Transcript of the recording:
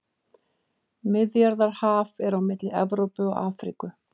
Miðjarðarhaf er á milli Evrópu og Afríku.